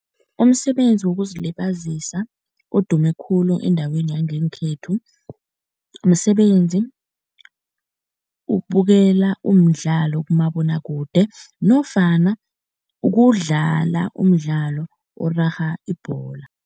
Umsebenzi wokuzilibazisa odume khulu endaweni yangekhethu, msebenzi wokubukela umdlalo kumabonwakude nofana kudlala umdlalo orarha ibhola.